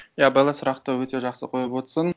иә белла сұрақты өте жақсы қойып отырсың